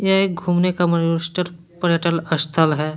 यह एक घूमने का पर्यटल स्थल है।